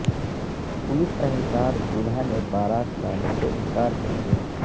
police اہلکار دولہا نے بارات لانے سے انکار کردیا